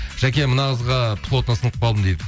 жаке мына қызға плотно сынып қалдым дейді